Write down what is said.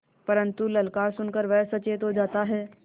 परन्तु ललकार सुन कर वह सचेत हो जाता है